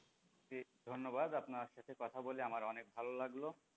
ধন্যবাদ, আপনার সাথে কথা বলে আমার অনেক ভালো লাগলো,